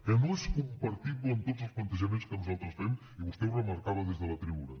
que no és compartible amb tots els plantejaments que nosaltres fem i vostè ho remarcava des de la tribuna